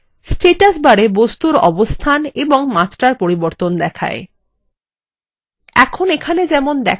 status barএ বস্তুর অবস্থান এবং মাত্রার পরিবর্তন দেখায়